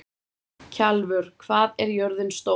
Kjalvör, hvað er jörðin stór?